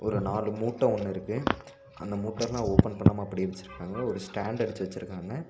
ஒரு நாலு மூட்ட ஒன்னு இருக்கு அந்த மூட்டலா ஓபன் பண்ணாம அப்படியே வெச்சுருக்காங்க ஒரு ஸ்டாண்ட் அடிச்சு வெச்சுருக்காங்க.